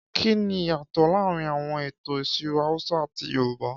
Kí ni ìyàtọ̀ láàrin àwọn ètò ìṣirò Hausa àti Yorùbá?